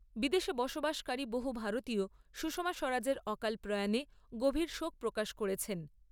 বিদেশে বসবাসকারী বহু ভারতীয় সুষমা স্বরাজের অকাল প্রয়াণে গভীর শোক প্রকাশ করেছেন।